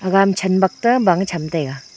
chen bakte bang cham taiga.